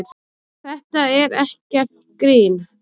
Þetta er ekkert grín.